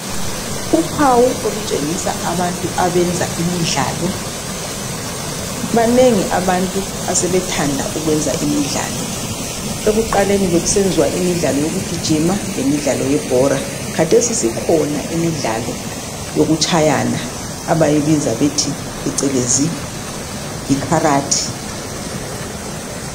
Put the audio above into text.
Uphawu olutshengisa abantu abenza imidlalo. Banengi abantu asebethanda ukwenza imidlalo. Ekuqaleni bekusenziwa imidlalo yokugijima lemidlalo yebhora. Khathesi sikhona imidlalo yokutshayana abayibiza bethi phecelezi ikarate.